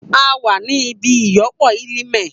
A wa ni ibi iyọpo eleme.